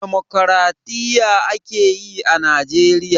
Damokraɗiyya a ke yi a Najeriya.